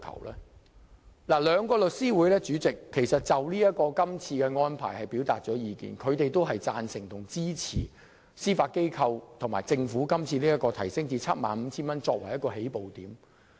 代理主席，兩個律師會就今次的安排表達了意見，他們均贊同和支持司法機構和政府以把限額提高至 75,000 元作為起步點。